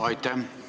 Aitäh!